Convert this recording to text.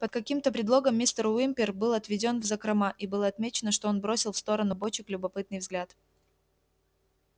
под каким-то предлогом мистер уимпер был отведён в закрома и было отмечено что он бросил в сторону бочек любопытный взгляд